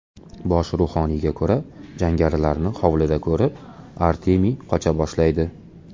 Bosh ruhoniyga ko‘ra, jangarilarni hovlida ko‘rib, Artemiy qocha boshlaydi.